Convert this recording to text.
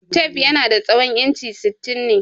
Tef yanada tsawon inchi sittin ne.